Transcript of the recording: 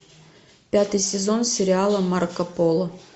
пятый сезон сериала марко поло